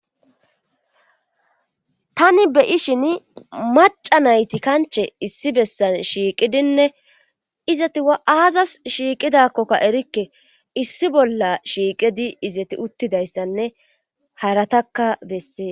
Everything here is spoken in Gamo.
Tani beyi shin maca nayti kanche issi bessan shiiqidinne izati a'aazas shiiqidakkokka erikke issi bolla shiiqidi izati uttidayssanne haratakka bessee